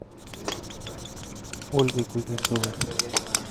ольгой кузнецовой